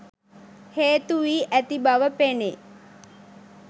හේතුවි ඇති බැව පෙනේ